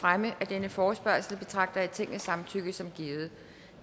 fremme af denne forespørgsel betragter jeg tingets samtykke som givet